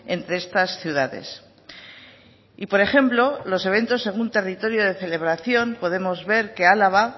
entre estas ciudades y por ejemplo los eventos según territorio de celebración podemos ver que álava